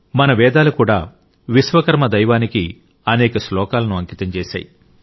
మన వేదాలు కూడా విశ్వకర్మ దైవానికి అనేక శ్లోకాలను అంకితం చేశాయి